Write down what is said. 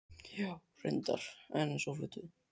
Já, reyndar, en svo fluttum við.